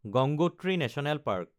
Gangotri national park